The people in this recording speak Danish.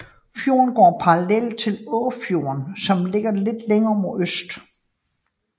Fjorden går parallelt til Åfjorden som ligger lidt længere mod øst